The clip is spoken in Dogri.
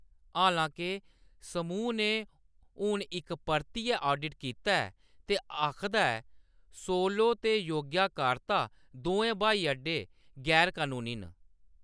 हालांके, समूह् ने हून इक परतियै ऑडिट कीता ऐ ते आखदा ऐ, सोलो ते योग्याकार्ता दोऐ ब्हाई अड्डे गैर-कनूनी न।